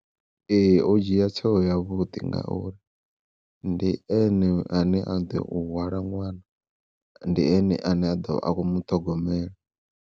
Ee o dzhia tsheo ya vhuḓi ngauri ndi ene ane a ḓo hwala ṅwana ndi ene ane a ḓo vha a khou muṱhogomela.